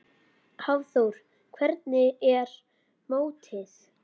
Hafþór: Hvernig er mótið?